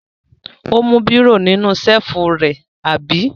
Ó mú bírò nínú ṣẹ́lífù rẹ, àbí?